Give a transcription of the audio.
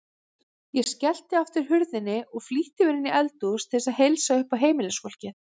Ég skellti aftur hurðinni og flýtti mér inní eldhús til að heilsa uppá heimilisfólkið.